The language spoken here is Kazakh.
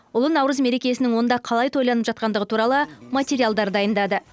ұлы наурыз мерекесінің онда қалай тойланып жатқандығы туралы материалдар дайындады